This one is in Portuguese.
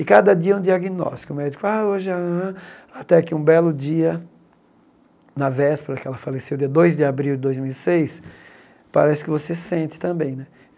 E cada dia é um diagnóstico, o médico, ah, hoje é... Até que um belo dia, na véspera que ela faleceu, dia dois de abril de dois mil e seis, parece que você sente também, né?